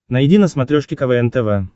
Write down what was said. найди на смотрешке квн тв